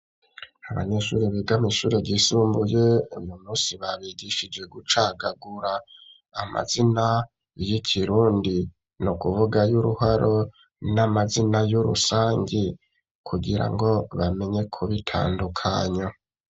Abanyeshure, biga mw'ishure ryisumbuye, uyu munsi, babigishije gucagagura, amazina y'ikirundi; ni ukuvuga ay'uruharo, n'amazina y'urusangi, kugira ngo bamenye, kubitandukanya.